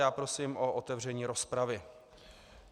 Já prosím o otevření rozpravy.